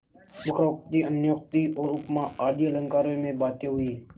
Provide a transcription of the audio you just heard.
वक्रोक्ति अन्योक्ति और उपमा आदि अलंकारों में बातें हुईं